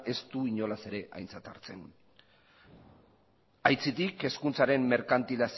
ez du inolaz ere aintzat hartzen aitzitik hezkuntzaren